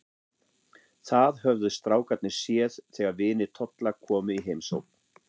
Það höfðu strákarnir séð þegar vinir Tolla komu í heimsókn.